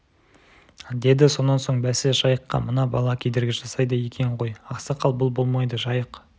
деді сонан соң бәсе жайыққа мына бала кедергі жасайды екен ғой ақсақал бұл болмайды жайық